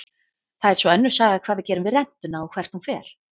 Það er svo önnur saga hvað við gerum við rentuna og hvert hún fer.